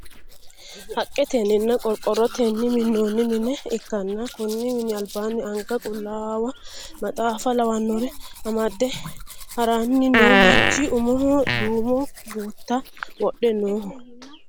Haqqetenninna qorqorrotenni minnoonni mine ikkanna konni mini albaanni anga qullaawa maxaafa lawannore amade haranni no manchi umoho duumo gutta wodhe nooho.